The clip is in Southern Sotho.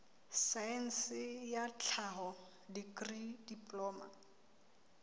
saense ya tlhaho dikri diploma